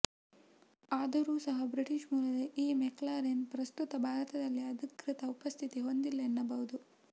ಆದರೂ ಸಹ ಬ್ರಿಟಿಷ್ ಮೂಲದ ಈ ಮೆಕ್ಲಾರೆನ್ ಪ್ರಸ್ತುತ ಭಾರತದಲ್ಲಿ ಅಧಿಕೃತ ಉಪಸ್ಥಿತಿ ಹೊಂದಿಲ್ಲ ಎನ್ನಬಹುದು